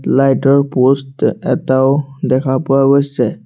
Light ৰ post এটাও দেখা পোৱা গৈছে।